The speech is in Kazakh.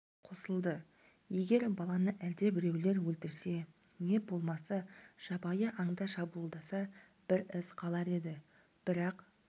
қосылды егер баланы әлдебіреулер өлтірсе не болмаса жабайы аңдар шабуылдаса бір із қалар еді бірақ